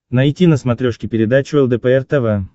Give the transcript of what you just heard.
найти на смотрешке передачу лдпр тв